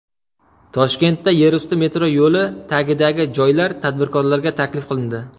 Toshkentda yerusti metro yo‘li tagidagi joylar tadbirkorlarga taklif qilindi .